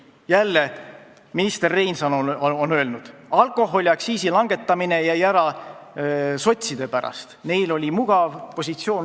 Jälle, minister Reinsalu on öelnud, et alkoholiaktsiisi langetamine jäi ära sotside pärast, neil oli mugav öelda ei.